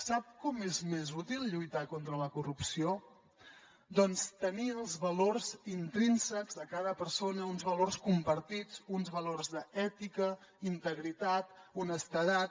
sap com és més útil lluitar contra la corrupció doncs tenir els valors intrínsecs de cada persona uns valors compartits uns valors d’ètica integritat honestedat